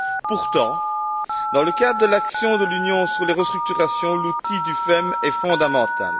Pourtant, dans le cadre de l'action de l'Union sur les restructurations, l'outil du FEM est fondamental.